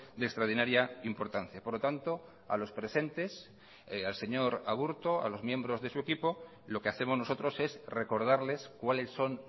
de extraordinaria importancia por lo tanto a los presentes al señor aburto a los miembros de su equipo lo que hacemos nosotros es recordarles cuáles son